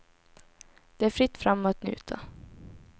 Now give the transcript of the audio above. Det är fritt fram att njuta.